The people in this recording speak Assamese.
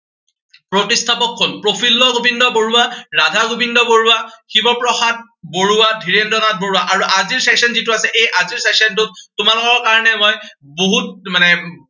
প্ৰতিষ্ঠাপক কোন, প্ৰফুল্ল গোবিন্দ বৰুৱা, ৰাধা গোবিন্দ বৰুৱা, শিৱ প্ৰসাদ বৰুৱা, ধীৰেন্দ্ৰ নাথ বৰুৱা। আৰু আজিৰ session যি টো আছে, এই আজিৰ session টোত তোমালোকৰ কাৰনে মই বহুত মানে